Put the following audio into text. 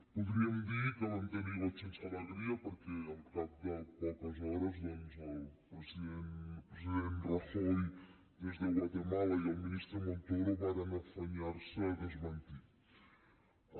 podríem dir que vam tenir goig sense alegria perquè al cap de poques hores doncs el president rajoy des de guatemala i el ministre montoro varen afanyar se a desmentir ho